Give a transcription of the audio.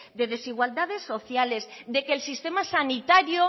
de desigualdades sociales de que el sistema sanitario